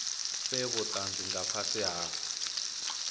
fhe vhutanzi nga fhasi ha